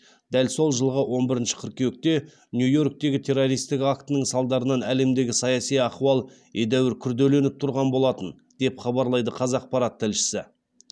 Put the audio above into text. дәл сол жылғы он бірінші қыркүйекте нью йорктегі террористік актінің салдарынан әлемдегі саяси ахуал едәуір күрделеніп тұрған болатын деп хабарлайды қазақпарат тілшісі